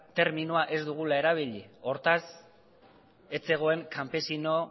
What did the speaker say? terminoa ez dugula erabili hortaz ez zegoen kanpesino